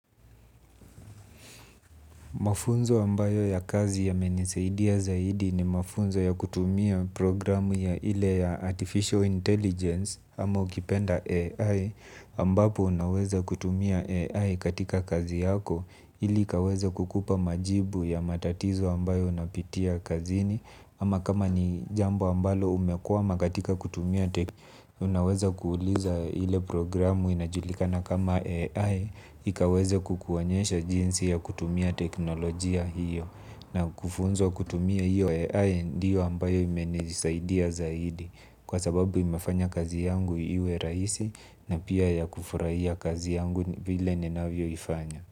Mafunzo ambayo ya kazi yamenisaidia zaidi ni mafunzo ya kutumia programu ya ile ya Artificial Intelligence ama ukipenda AI ambapo unaweza kutumia AI katika kazi yako ili ikaweza kukupa majibu ya matatizo ambayo unapitia kazini ama kama ni jambo ambalo umekwama katika kutumia unaweza kuuliza ile programu inaitwa AI. Ikaweze kukuonyesha jinsi ya kutumia teknolojia hiyo. Na kufunzwa kutumia hiyo AI ndiyo ambayo imenisaidia zaidi. Kwa sababu imefanya kazi yangu iwe rahisi. Na pia ya kufurahia kazi yangu vile ninavyo ifanya.